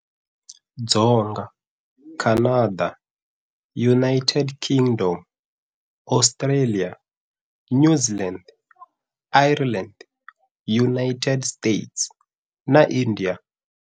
Dzonga-Canada, United Kingdom, Australia, New Zealand, Ireland, United States, na India.